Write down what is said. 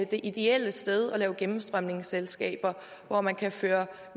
det ideelle sted at lave gennemstrømningsselskaber hvor man kan føre